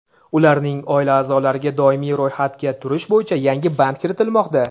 ularning oila aʼzolariga doimiy ro‘yxatga turish bo‘yicha yangi band kiritilmoqda.